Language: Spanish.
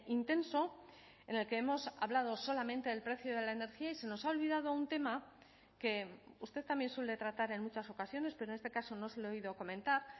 intenso en el que hemos hablado solamente el precio de la energía y se nos ha olvidado un tema que usted también suele tratar en muchas ocasiones pero en este caso no se lo he oído comentar